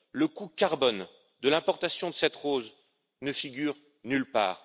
Le coût en carbone de l'importation de cette rose ne figure nulle part.